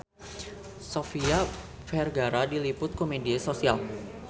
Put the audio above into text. Sofia Vergara diliput ku media nasional